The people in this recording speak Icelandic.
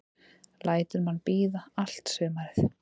Lætur mann bíða allt sumarið.